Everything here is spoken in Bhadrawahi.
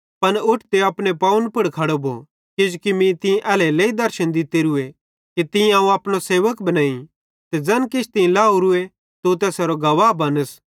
पन उठ ते अपने पवन पुड़ खड़ो भो किजोकि मीं तीं एल्हेरेलेइ दर्शन दित्तोरूए कि तीं अवं अपनो सेवक बनेइं ते ज़ैन किछ तीं लाहेरूए तू तैसेरो गवाह बनस